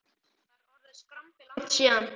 Það er orðið skrambi langt síðan